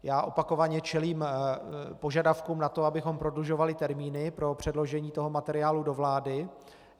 Já opakovaně čelím požadavkům na to, abychom prodlužovali termíny pro předložení toho materiálu do vlády.